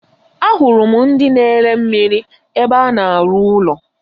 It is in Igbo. Ahụrụ m ndị na ere mmiri ébé a na-aru ụlọ.